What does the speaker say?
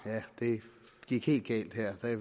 det gik helt galt her jeg